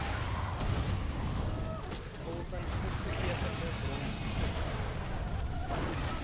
volgens opgetekende bronne